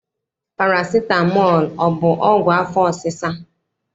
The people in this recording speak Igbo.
Parasitamọl ọ bụ ọgwụ afọ ọsịsa?